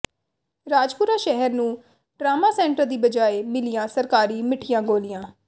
ਰਾਜਪੁਰਾ ਸ਼ਹਿਰ ਨੂੰ trauma centre ਦੀ ਬਜਾਏ ਮਿਲੀਆਂ ਸਰਕਾਰੀ ਮਿੱਠੀਆਂ ਗੋਲੀਆਂ